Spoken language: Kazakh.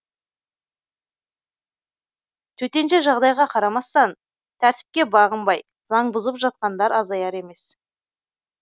төтенше жағдайға қарамастан тәртіпке бағынбай заң бұзып жатқандар азаяр емес